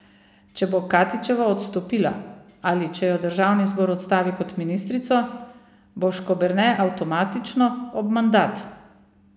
Če bo Katičeva odstopila ali če jo državni zbor odstavi kot ministrico, bo Škoberne avtomatično ob mandat.